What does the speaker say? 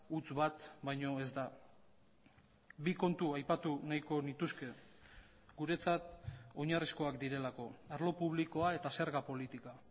huts bat baino ez da bi kontu aipatu nahiko nituzke guretzat oinarrizkoak direlako arlo publikoa eta zerga politika